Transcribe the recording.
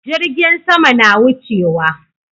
Jirgin sama na wucewa